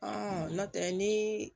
nɔntɛ ni